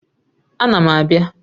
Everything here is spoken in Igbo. Ána m abịa